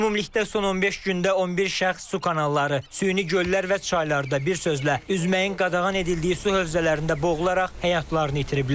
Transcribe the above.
Ümumilikdə son 15 gündə 11 şəxs su kanalları, süni göllər və çaylarda bir sözlə üzməyin qadağan edildiyi su hövzələrində boğularaq həyatlarını itiriblər.